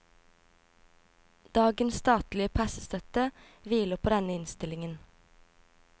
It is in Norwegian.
Dagens statlige pressestøtte hviler på denne innstillingen.